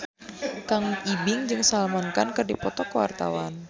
Kang Ibing jeung Salman Khan keur dipoto ku wartawan